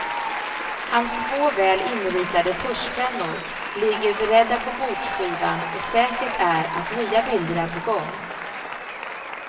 Hans två väl inritade tuschpennor ligger beredda på bordskivan och säkert är att nya bilder är på gång.